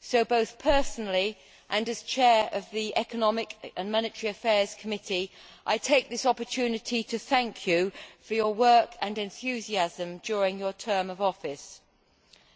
So both personally, and as Chair of the Economic and Monetary Affairs Committee, I take this opportunity to thank you for your work and enthusiasm during your term of office.